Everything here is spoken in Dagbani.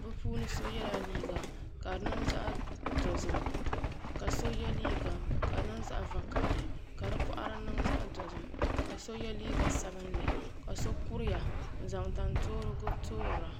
bi puuni so yɛla liiga ka di niŋ zaɣ dozim ka so yɛ liiga ka di niŋ zaɣ vakaɣali ka di boɣari niŋ zaɣ dozim ka so kuriya n zaŋ tan toorigu toora